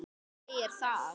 Hver segir það?